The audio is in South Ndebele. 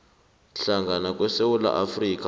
hlangana kwesewula afrika